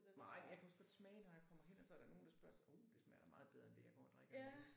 Nej men jeg kan også godt smage når jeg kommer hen og så er der nogen der spørger så uh det smager da meget bedre end det jeg går og drikker nu